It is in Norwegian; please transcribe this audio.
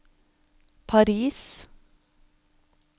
Paris